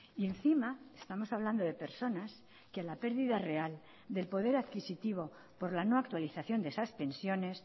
y encima estamos hablando de personas que la pérdida real del poder adquisitivo por la no actualización de esas pensiones